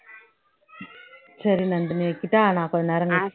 சரி நந்தினி வைக்கட்டா நான் கொஞ்ச நேரம் கழிச்சி பண்